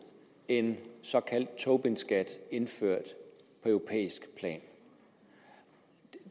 en såkaldt tobinskat indført på europæisk plan